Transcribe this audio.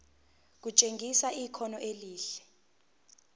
kutshengisa ikhono elihle